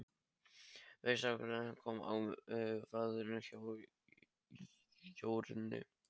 Fyrsti hákarlinn kom á vaðinn hjá Jórunni.